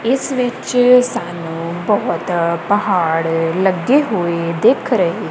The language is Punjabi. ਇਸ ਵਿੱਚ ਸਾਨੂੰ ਬਹੁਤ ਪਹਾੜ ਲੱਗੇ ਹੋਏ ਦਿਖ ਰਹੇ--